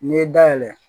N'i ye dayɛlɛ